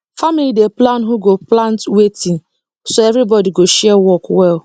family dey plan who go plant wetin so everybody go share work well